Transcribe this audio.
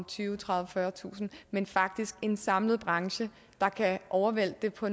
tyvetusind tredivetusind men faktisk en samlet branche der kan overvælte det på